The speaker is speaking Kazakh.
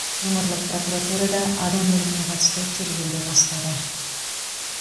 өңірлік прокуратура адам өліміне қатысты тергеуді бастады